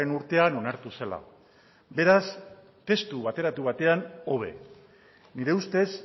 urtean onartu zela beraz testu bateratu batean hobe nire ustez